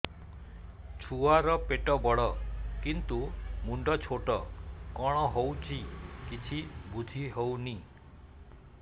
ଛୁଆର ପେଟବଡ଼ କିନ୍ତୁ ମୁଣ୍ଡ ଛୋଟ କଣ ହଉଚି କିଛି ଵୁଝିହୋଉନି